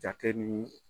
Jate ni